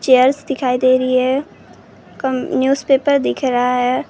चियरें दिखाई दे रही हैं कम न्यूजपेपर दिख रहा है ।